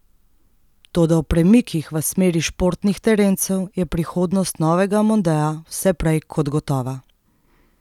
Toda ob premikih v smeri športnih terencev je prihodnost novega mondea vse prej kot gotova.